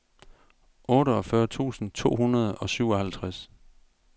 otteogfyrre tusind to hundrede og syvoghalvtreds